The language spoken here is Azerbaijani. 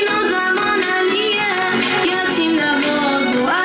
İran, Əli, Yetim navazıq.